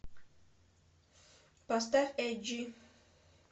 поставь эджи